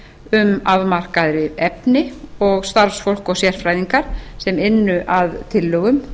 um afmarkaðra efni og starfsfólk og sérfræðinga sem ynnu að tillögum